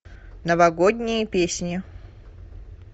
новогодние песни